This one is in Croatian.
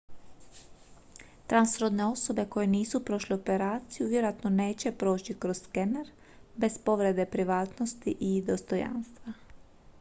transrodne osobe koje nisu prošle operaciju vjerojatno neće proći kroz skener bez povrede privatnosti i dostojanstva